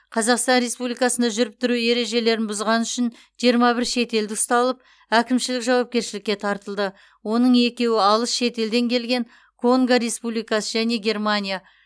қазақстан республикасында жүріп тұру ережелерін бұзғаны үшін жиырма бір шетелдік ұсталып әкімшілік жауапкершілікке тартылды оның екеуі алыс шетелден келген конго республикасы және германия